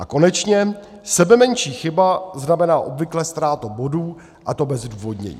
A konečně, sebemenší chyba znamená obvykle ztrátu bodů, a to bez zdůvodnění.